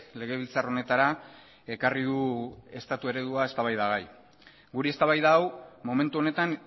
legebiltzar honetara ekarri du estatu eredua eztabaidagai guri eztabaida hau momentu honetan